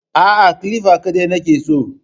Aa, kilifa kaɗai nake so